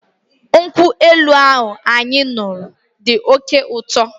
Nkwụ elu ahụ anyị ṅụrụ dị oké ụtọ.